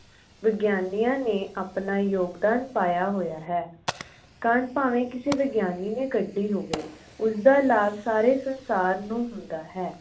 ਵਿਗਿਆਨੀਆਂ ਨੇ ਆਪਣਾ ਯੋਗਦਾਨ ਪਾਹਿਆ ਹੋਹਿਆ ਹੈ। ਕੰਡ ਭਾਵੈ ਕਿਸੇ ਵਿਗਿਆਨੀ ਨੇ ਕੱਢੀ ਹੋਵੇ ਉਸ ਦਾ ਲਾਭ ਸਾਰੇ ਸੰਸਾਰ ਨੂੰ ਹੁੰਦਾਂ ਹੈ।